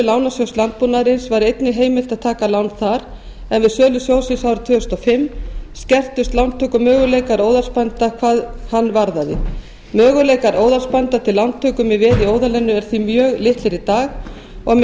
lánasjóðs landbúnaðarins var einnig heimilt að taka lán þar en við sölu sjóðsins árið tvö þúsund og fimm skertust lántökumöguleikar óðalsbænda hvað hann varðaði möguleikar óðalsbænda til lántöku með veði í óðalinu eru því mjög litlir í dag með